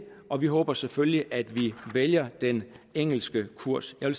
og vi håber selvfølgelig at vi vælger den engelske kurs jeg